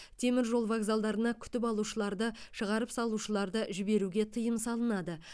теміржол вокзалдарына күтіп алушыларды шығарып салушыларды жіберуге тыйым салынады